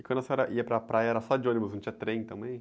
E quando a senhora ia para a praia, era só de ônibus, não tinha trem também?